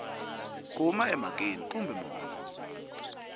a huma emhakeni kambe mongo